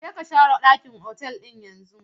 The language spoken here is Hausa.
Je ka share ɗakin otal ɗin yanzu!